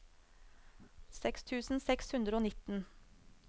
seks tusen seks hundre og nitten